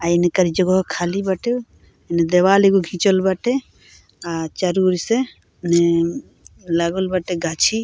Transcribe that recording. आ इंकर जगहो खाली बाटे एने दीवाल एगो घिचल बाटे आ चारू ओर से मने लागल बाटे गाछी।